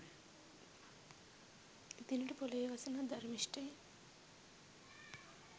එදිනට පොලොවේ වසන අධර්මිශ්ටයින්